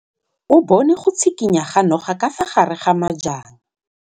O bone go tshikinya ga noga ka fa gare ga majang.